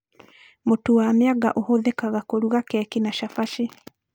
Mũtu wa mĩanga ũhũthĩkaga kũruga keki na cabaci